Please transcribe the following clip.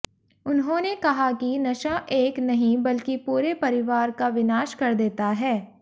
उन्होंने कहा कि नशा एक नहीं बल्कि पूरे परिवार का विनाश कर देता है